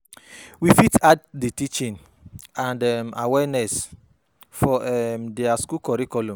We fit add di teaching and um awareness for um their school curriculum